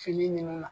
Fini nunnu na